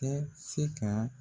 Bɛ se ka